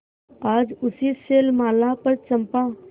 आज उसी शैलमाला पर चंपा